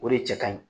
O de cɛ ka ɲi